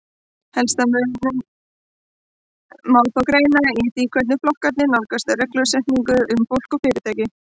Helsta muninn má þó greina í því hvernig flokkarnir nálgast reglusetningu um fólk og fyrirtæki.